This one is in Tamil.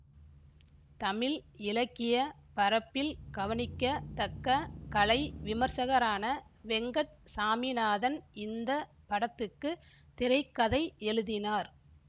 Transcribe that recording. தமிழ் இலக்கிய பரப்பில் கவனிக்கத் தக்க கலை விமர்சகரான வெங்கட் சாமிநாதன் இந்த படத்துக்குத் திரை கதை எழுதினார்